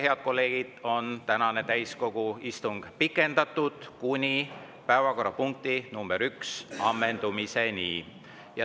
Head kolleegid, tänane täiskogu istung on pikendatud kuni päevakorrapunkti nr 1 ammendumiseni.